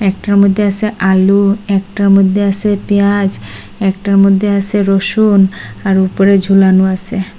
একটার মধ্যে আছে আলু একটার মধ্যে আছে পিঁয়াজ একটার মধ্যে আছে রসুন আর উপরে ঝুলানো আছে।